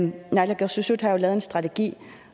naalakkersuisut har lavet en strategi